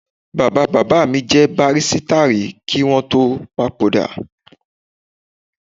Bàbá bàbá mi jẹ bàbárìṣà rí kí wọn tó papòdà